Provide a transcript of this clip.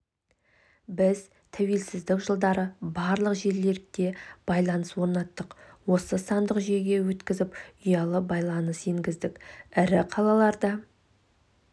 біз тәуелсіздік жылдары барлық жерлерде байланыс орнаттық оны сандық жүйеге өткізіп ұялы байланыс енгіздік ірі қалаларда